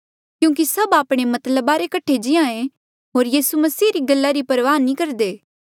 क्यूंकि सभ आपणे मतलबा रे कठे जीएं होर यीसू मसीह री गल्ला री परवाह नी करदे